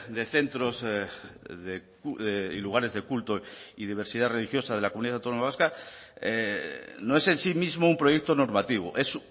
de centros y lugares de culto y diversidad religiosa de la comunidad autónoma vasca no es en sí mismo un proyecto normativo es